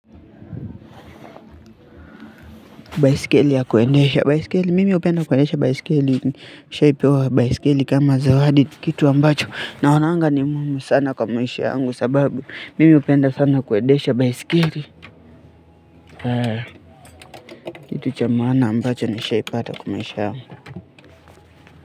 Baiskeli ya kuendesha baiskeli, mimi hupenda kuendesha baiskeli, nishai pewa baiskeli kama zawadi kitu ambacho, naonanga ni muhimu sana kwa maisha yangu sababu, mimi hupenda sana kuendesha baiskeli, kitu cha maana ambacho nishai pata kwa maisha yangu.